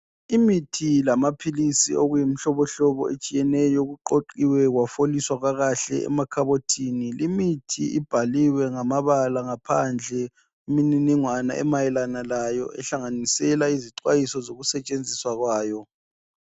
Imithi lamaphilisi okuyimhlobohlobo etshiyeneyo kuqoqiwe kwafoliswa kakahle emakhabothini. Limithi ibhaliwe ngamabala ngaphandle imininingwana emayelana layo ehlanganisela izixwayiso zokusetshenziswa kwayo